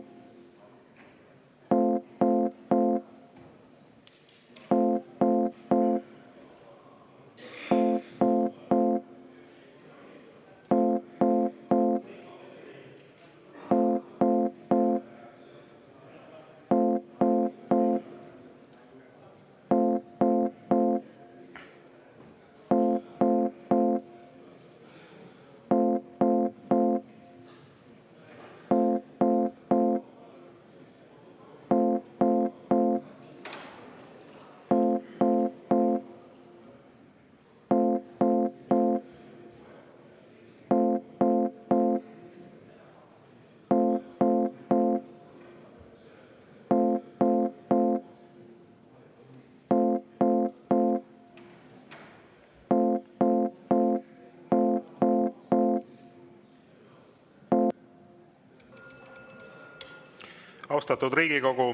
Austatud Riigikogu!